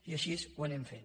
i així ho anem fent